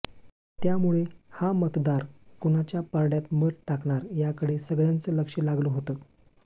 त्यामुळे हा मतदार कुणाच्या पारड्यात मत टाकणार याकडे सगळ्यांचं लक्ष लागलं होतं